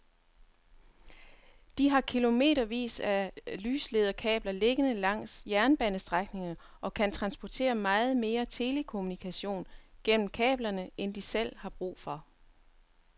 De har kilometervis af lyslederkabler liggende langs jernbanestrækningerne og kan transportere meget mere telekommunikation gennem kablerne end de selv har brug for.